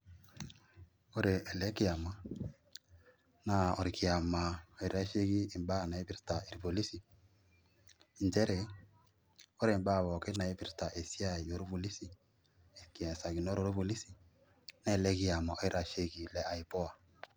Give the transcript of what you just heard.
ore ele kiama naa orkiama oitasheki mbaa naipirta irpolisi, nchere, ore mbaa pookin naipirta esiai orpolisi, nkiasakinot orpolisi naa ele kiama oitasheiki le IPOA.